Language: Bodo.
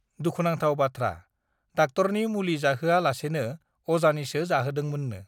दुखुनांथाव बाथ्रा डाक्टरनि मुलि जाहोआ लासेन अजानिसो जाहोदोंमोननो